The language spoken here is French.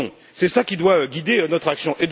C'est cela qui doit guider notre action.